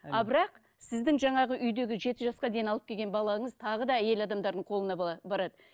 а бірақ сіздің жаңағы үйдегі жеті жасқа дейін алып келген балаңыз тағы да әйел адамдардың қолына барады